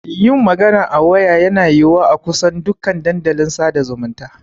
Yin magana a waya yana yiwuwa a kusan dukan dandalin sada zumunta.